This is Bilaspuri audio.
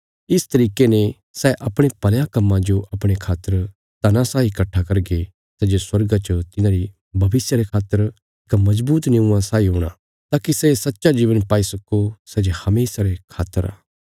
इस तरिके ने सै अपणे भलयां कम्मां जो अपणे खातर धना साई कट्ठा करगे सै जे स्वर्गा च तिन्हांरी भविष्य रे खातर इक मजबूत निऊँआ साई हूणा ताकि सै सच्चा जीवन पाई सक्को सै जे हमेशा रे खातर आ